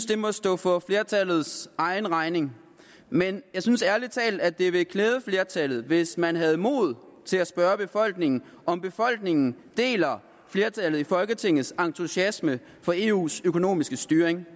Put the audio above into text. det må stå for flertallets egen regning men jeg synes ærlig talt at det ville klæde flertallet hvis man havde mod til at spørge befolkningen om befolkningen deler flertallet i folketingets entusiasme for eus økonomiske styring